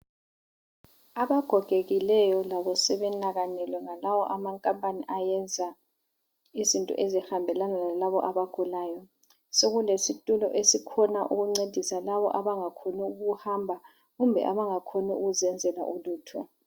Abagogekileyo labo sebenakanelwe ngalawo amakampani ayenza izinto ezihambelana lalabo abagulayo. Sekulesitulo esikhona ukuncedisa labo abangakhoni ukuhamba kumbe abangakhoni ukuzenzela ulutho.